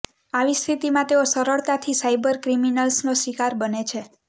આવી સ્થિતિમાં તેઓ સરળતાથી સાયબર ક્રિમિનલ્સનો શિકાર બને છે